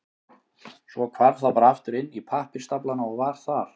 Svo hvarf það bara aftur inn í pappírsstaflana og var þar.